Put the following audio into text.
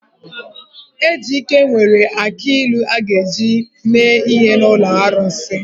Ejike nwere akị ilu a ga-eji mee ihe n’ụlọ arụsị.